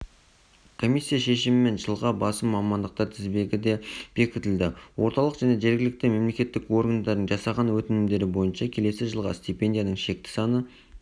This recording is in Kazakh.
комиссия шешімімен жылға басым мамандықтар тізбесі де бекітілді орталық және жергілікті мемлекеттік органдардың жасаған өтінімдері бойынша келесі жылға стипендияның шекті саны